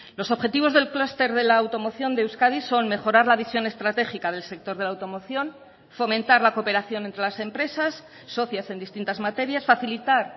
los objetivos del clúster de la automoción de euskadi son mejorar la visión estratégica del sector de la automoción fomentar la cooperación entre las empresas socias en distintas materias facilitar